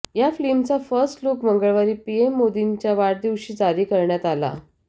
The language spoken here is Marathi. या फिल्मचा फर्स्ट लुक मंगळवारी पीएम मोदींच्या वाढदिवशी जारी करण्यात आला